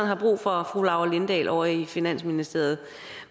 har brug for fru laura lindahl ovre i finansministeriet